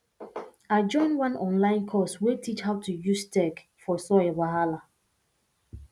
i join one online course wey teach how to use tech for soil wahala